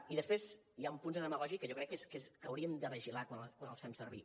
i després hi han punts de demagògia que jo crec que hauríem de vigilar quan els fem servir